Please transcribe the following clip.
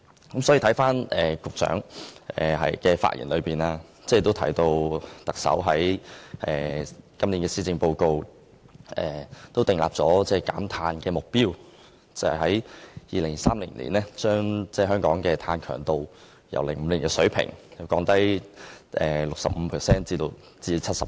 局長的發言提到，特首在2017年1月施政報告訂立了減碳目標，計劃在2030年把香港的碳強度由2005年的水平減低 65% 至 70%。